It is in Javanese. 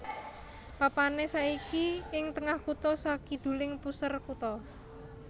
Papané saiki ing tengah kutha sakiduling puser kutha